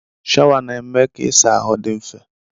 Shawa na-eme ka ịsa ahụ dị mfe.